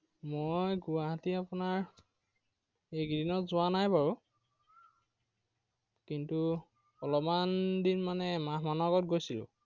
মই গুৱাহাটী আপোনাৰ একেইদিনত যোৱা নাই বাৰু। কিন্তু অলপমান দিন মানে, এমাহ মানৰ আগত গৈছিলো।